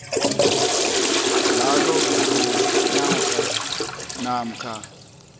njalo ngonyaka namkha